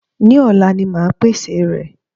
Ní òla ni máa pèsè rẹ̀